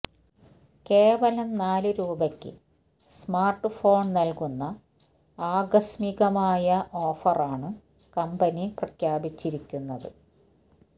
കേവലം നാല് രൂപയ്ക്ക് സ്മാര്ട് ഫോണ് നല്കുന്ന ആകസ്മികമായ ഓഫറാണ് കമ്പനി പ്രഖ്യാപിച്ചിരിക്കുന്നത്